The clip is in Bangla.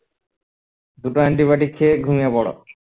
দুটো anti-biotic খেয়ে ঘুমিয়ে পরো